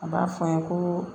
A b'a fɔ n ye ko